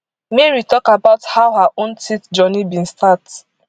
mary tok about how her own teeth journey bin start